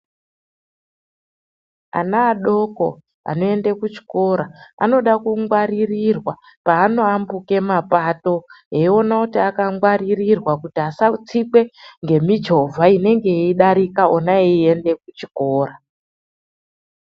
Ana adoko anoenda kuchikora anoda kungwaririrwa paanoambuka mapato eiona kuti akangwarirwa kuti asatsikwe ngemichovha inenge yeidarika ona eiende kuchikora.